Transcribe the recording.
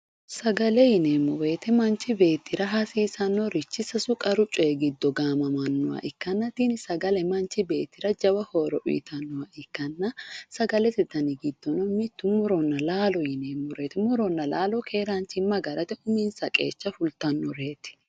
Sagale yineemmo woyte manchi beettira hasiisanorichi qaru coyi giddo gaamamanoha ikkanna tini sagale manchi beettira jawa horo uyittanoha ikkanna sagalete danni giddono murona laalo yineemmore ,muronna laalo keeranchima agarate uminsa qeecha fultanoreti.